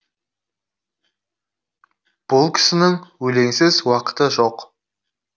бұл кісінің өлеңсіз уақыты жоқ